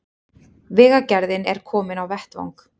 Vegagerðin er komin á vettvang